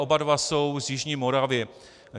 Oba dva jsou z jižní Moravy.